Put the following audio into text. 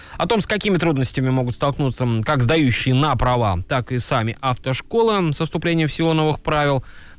о том с какими трудностями могут столкнуться как сдающие на права так и сами автошкола со вступлением в силу новых правил